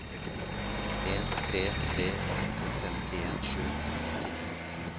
en tre tre åtte femtien sju hundre og nittini